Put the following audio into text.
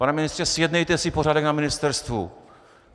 Pane ministře, zjednejte si pořádek na ministerstvu!